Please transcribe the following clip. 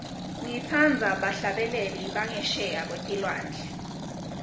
ngitsandza bahlabeleli bangesheya kwetilwandle